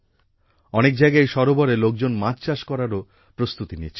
অনেক জায়গায় এই সরোবরে লোকজন মাছচাষ করবারও প্রস্তুতি নিচ্ছে